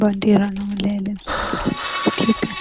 ባንድራና መለያ ለምሳሌ፦ የኢትዮጵያን